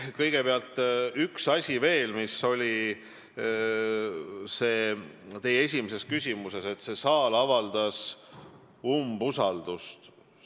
Kõigepealt ühe asja kohta veel, mis oli teie esimeses küsimuses, et see saal avaldas umbusaldust.